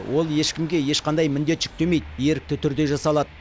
ол ешкімге ешқандай міндет жүктемейді ерікті түрде жасалады